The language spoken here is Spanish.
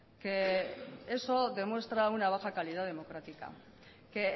que eso demuestra una baja calidad democrática que